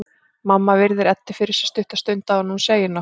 Mamma virðir Eddu fyrir sér stutta stund áður en hún segir nokkuð.